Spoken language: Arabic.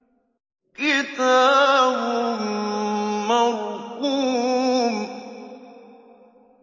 كِتَابٌ مَّرْقُومٌ